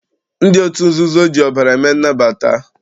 Ndị otu nzuzo ji ọbara eme nnabata.